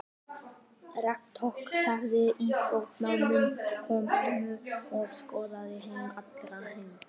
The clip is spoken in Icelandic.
Rektor þakkaði íþróttamönnum komuna og óskaði þeim allra heilla.